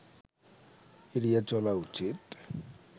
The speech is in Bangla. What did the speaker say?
এড়িয়ে চলা উচিত